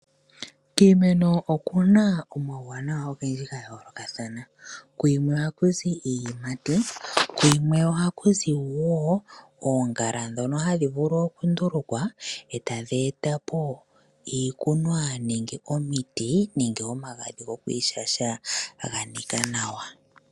Kiimeno okuna omauwanawa ogendji ga yoolokathana, kuyimwe ohaku zi iiyimati kuyimwe ohaku zi wo oongala dhono hadhi vulu oku ndulukwa etadhi etapo iikunwa nenge omiti nenge omagadhi gokwiishasha gaha nika nawa